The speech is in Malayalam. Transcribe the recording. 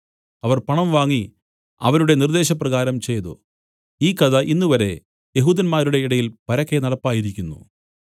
അവർ പണം വാങ്ങി അവരുടെ നിർദ്ദേശപ്രകാരം ചെയ്തു ഈ കഥ ഇന്നുവരെ യെഹൂദന്മാരുടെ ഇടയിൽ പരക്കെ നടപ്പായിരിക്കുന്നു